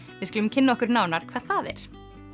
við skulum kynna okkur nánar hvað það er